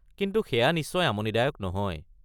কিন্তু সেয়া নিশ্চয় আমনিদায়ক নহয়।